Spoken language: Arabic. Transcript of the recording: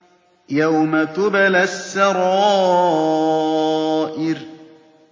يَوْمَ تُبْلَى السَّرَائِرُ